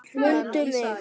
MUNDU MIG!